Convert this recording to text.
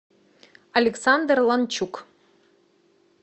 александр ланчук